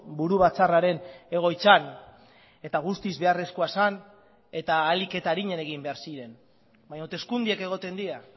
buru batzarraren egoitzan eta guztiz beharrezkoa zen eta ahalik eta arinen egin behar ziren baina hauteskundeak egoten dira